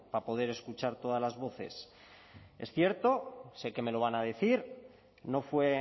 para poder escuchar todas las voces es cierto sé que me lo van a decir no fue